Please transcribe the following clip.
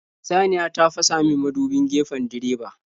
Saniya ta fasamin mudubin gefen direba.